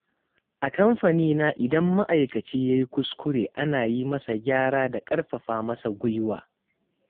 A kamfanina idan ma'aikaci ya yi kuskure, ana yi masa gyara da ƙarfafa masa guiwa.